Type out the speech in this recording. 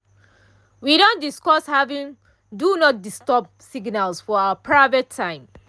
we don discuss having “do not disturb” signals for our private time.